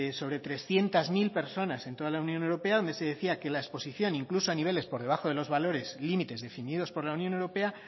sobre trescientos mil personas en toda la unión europea donde se decía que la exposición incluso a niveles por debajo de los valores límites definidos por la unión europea